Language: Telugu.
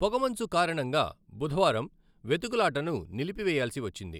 పొగమంచు కారణంగా బుధవారం వెతుకులాటను నిలిపివేయాల్సి వచ్చింది.